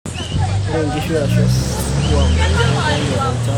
Ore ngishu ashu oswam keitayu olchala tolchambai leishoi endaa.